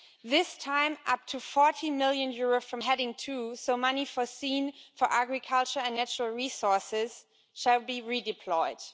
This time, up to EUR 40 million from heading two so money foreseen for agriculture and natural resources shall be redeployed.